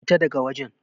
Fita da ga wajen!